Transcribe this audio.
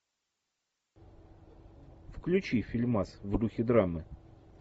включи фильмас в духе драмы